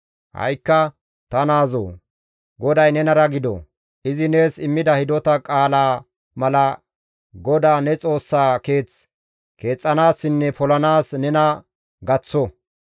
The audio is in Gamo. «Ha7ikka ta naazoo! GODAY nenara gido; izi nees immida hidota qaalaa mala GODAA ne Xoossaa keeth keexxanaassinne polanaas nena gaththo.